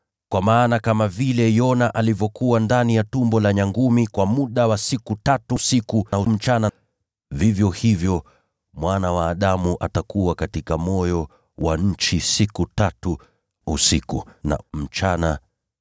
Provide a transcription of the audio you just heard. Kwa maana kama vile Yona alivyokuwa ndani ya tumbo la nyangumi kwa siku tatu, usiku na mchana, vivyo hivyo Mwana wa Adamu atakuwa katika moyo wa nchi siku tatu, usiku na mchana.